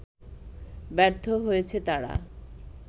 ব্যর্থ হয়েছে তারা